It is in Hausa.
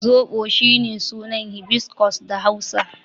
Zoɓo is shine sunan hibiscus da Hausa.